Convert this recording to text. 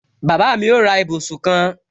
Bàbá mi ó ra ibùsùn kan